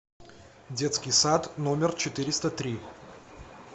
детский сад номер четыреста три